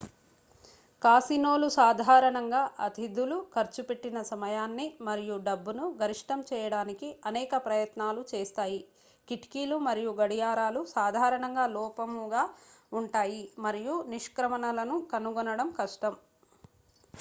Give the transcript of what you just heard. కాసినోలు సాధారణంగా అతిధులు ఖర్చు పెట్టిన సమయాన్ని మరియు డబ్బును గరిష్టం చేయడానికి అనేక ప్రయత్నాలు చేస్తాయి కిటికీలు మరియు గడియారాలు సాధారణంగా లోపముగా ఉంటాయి మరియు నిష్క్రమణలను కనుగొనడం కష్టం